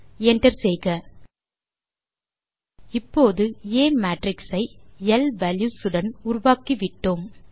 enter செய்க இப்போது ஆ மேட்ரிக்ஸ் ஐ எல் வால்யூஸ் உடன் உருவாக்கிவிட்டோம்